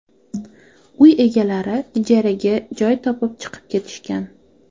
Uy egalari ijaraga joy topib chiqib ketishgan.